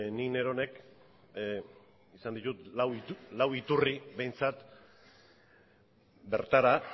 ni neronek izan ditut lau iturri behintzat bertara